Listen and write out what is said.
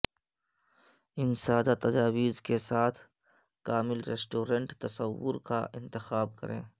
ان سادہ تجاویز کے ساتھ کامل ریسٹورنٹ تصور کا انتخاب کریں